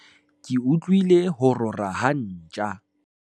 ke utlwile ho rora ha ntja